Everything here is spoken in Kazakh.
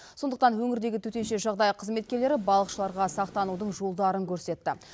сондықтан өңірдегі төтенше жағдай қызметкерлері балықшыларға сақтанудың жолдарын көрсетті